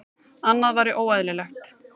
Annað væri óeðlilegt.